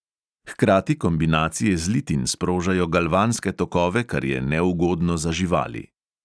Hkrati kombinacije zlitin sprožajo galvanske tokove, kar je neugodno za živali.